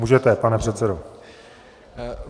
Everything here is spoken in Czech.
Můžete, pane předsedo.